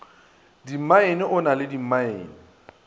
dimmaene o na le dimmaene